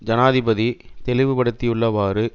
ஜனாதிபதி தெளிவுபடுத்தியுள்ளவாறு